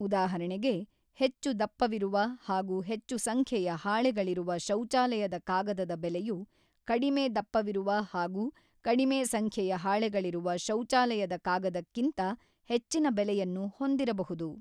ಉದಾಹರಣೆಗೆ, ಹೆಚ್ಚು ದಪ್ಪವಿರುವ ಹಾಗೂ ಹೆಚ್ಚು ಸಂಖ್ಯೆಯ ಹಾಳೆಗಳಿರುವ ಶೌಚಾಲಯದ ಕಾಗದದ ಬೆಲೆಯು ಕಡಿಮೆ ದಪ್ಪವಿರುವ ಹಾಗೂ ಕಡಿಮೆ ಸಂಖ್ಯೆಯ ಹಾಳೆಗಳಿರುವ ಶೌಚಾಲಯದ ಕಾಗದಕ್ಕಿಂತ ಹೆಚ್ಚಿನ ಬೆಲೆಯನ್ನು ಹೊಂದಿರಬಹುದು.